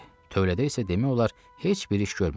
Tövlədə isə demək olar heç bir iş görmürdü.